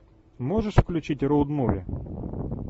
можешь включить роуд муви